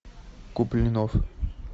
куплинов